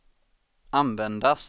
användas